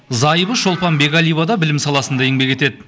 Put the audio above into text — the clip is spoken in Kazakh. зайыбы шолпан бекәлиева да білім саласында еңбек етеді